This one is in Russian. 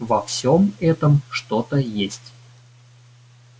во всём этом что-то есть